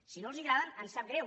si no els agraden ens sap greu